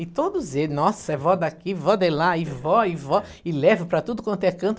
E todos eles, nossa, é vó daqui, vó de lá, e vó, e vó, e leva para tudo quanto é canto.